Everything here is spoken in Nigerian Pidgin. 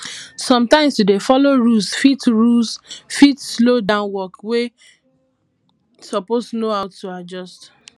sometimes to dey follow rules fit rules fit slow down work wey suppose know how to adjust